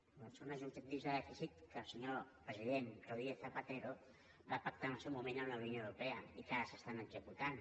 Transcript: doncs són uns objectius de dèficit que el senyor president rodríguez zapatero va pactar en el seu moment amb la unió europea i que ara s’estan executant